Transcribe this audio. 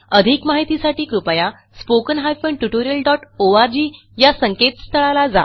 अधिक माहितीसाठी कृपया spoken hyphen tutorial dot O R G या संकेतस्थळाला जा